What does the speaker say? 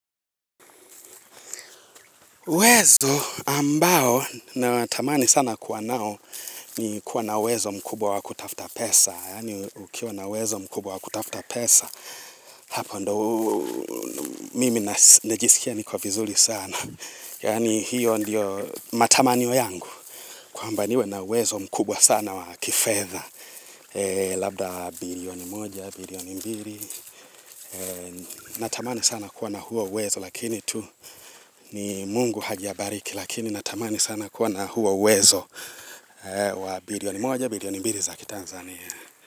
Wezdo ambao natamani sana kuwa nao ni kuwa na uwezo mkubwa wa kutafuta pesa. Yani ukiwa na uwezo mkubwa wa kutafuta pesa, hapo ndio mimi najisikia niko vizuri sana. Yaani hiyo ndiyo matamanio yangu. Kwamba niwe na uwezo mkubwa sana wa kifedha. Labda, bilioni moja, bilioni mbiri. Natamani sana kuwa na huo uwezo, lakini tu, ni mungu hajabariki. Lakini natamani sana kuwa na huo uwezo, wa bilioni moja bilioni mbiri za kiTanzania.